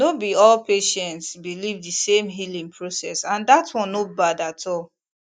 no be all patients believe the same healing process and that one no bad at all